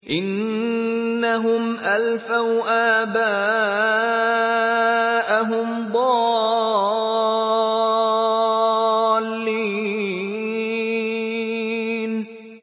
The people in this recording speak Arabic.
إِنَّهُمْ أَلْفَوْا آبَاءَهُمْ ضَالِّينَ